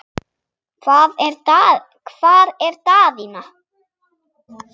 Hvar er Daðína?